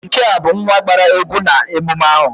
Nke a bụ nwa gbara egwu na emume ahụ